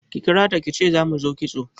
Ki kirata kice za mu zo kitso